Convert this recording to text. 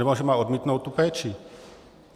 Anebo že má odmítnout tu péči.